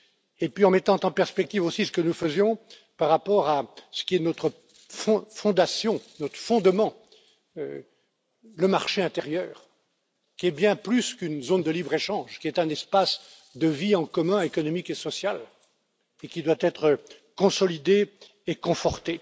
Puis, nous avons mis en perspective aussi ce que nous faisions par rapport à ce qui est notre fondation, notre fondement, à savoir le marché intérieur, qui est bien plus qu'une zone de libre échange, qui est un espace de vie en commun économique et social et qui doit être consolidé et conforté.